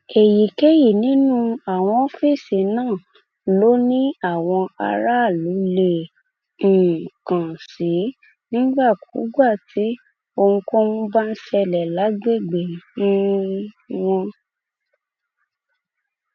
èyíkéyìí nínú àwọn ọfíìsì náà ló ní àwọn aráàlú lè um kàn sí nígbàkúùgbà tí ohunkóhun bá ń ṣẹlẹ lágbègbè um wọn